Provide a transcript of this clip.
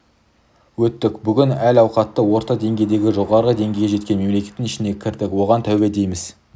өттік бүгін әл ауқаты орта деңгейден жоғары деңгейге жеткен мемлекеттің ішіне кірдік оған тәуба дейміз